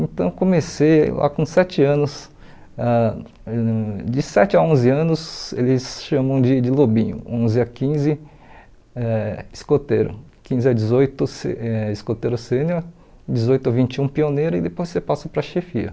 Então eu comecei lá com sete anos, ãh de sete a onze anos eles chamam de de lobinho, onze a quinze eh escoteiro, quinze a dezoito se eh escoteiro sênior, dezoito a vinte e um pioneiro e depois você passa para chefia.